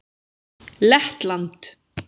Lettland